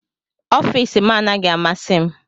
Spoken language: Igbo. Ọfịs m anaghị amasị m